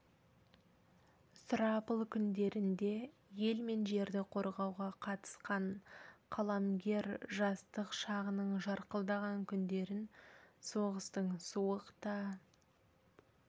сұрапыл күндерінде ел мен жерді қорғауға қатысқан қаламгер жастық шағының жарқылдаған күндерін соғыстың суық та